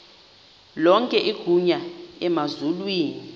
lonke igunya emazulwini